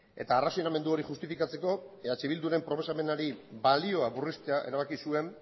eta arrazonamendu hori justifikatzeko eh bilduren proposamenari balioa murriztea erabaki zuen